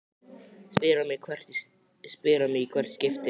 spyr hann mig í hvert skipti.